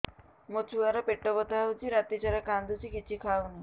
ମୋ ଛୁଆ ର ପେଟ ବଥା ହଉଚି ରାତିସାରା କାନ୍ଦୁଚି କିଛି ଖାଉନି